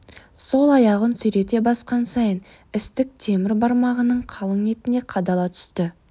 сол аяғын сүйрете басқан сайын істік темір бармағының қалың етіне қадала түсті